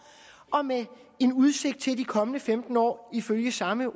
og med en udsigt til i de kommende femten år ifølge samme